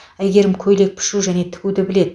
әйгерім көйлек пішу және тігуді біледі